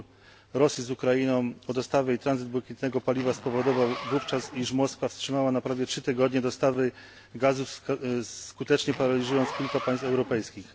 Spór Rosji z Ukrainą o dostawy i tranzyt błękitnego paliwa spowodował wówczas, że Moskwa wstrzymała na prawie 3 tygodnie dostawy gazu, skutecznie paraliżując kilka państw europejskich.